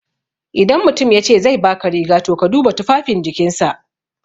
Idan mutum yace zai baka riga, to ka duba tufafin jikinsa.